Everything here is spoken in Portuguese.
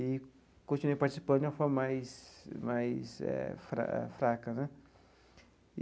e continuei participando de uma forma mais mais eh fraca né.